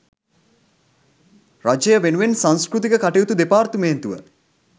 රජය වෙනුවෙන් සංස්කෘතික කටයුතු දෙපාර්තමේන්තුව